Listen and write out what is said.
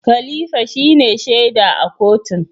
Khalifa shine shaida a kotun.